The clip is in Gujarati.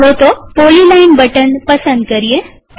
ચાલો તો પોલીલાઈન બટન પસંદ કરીએ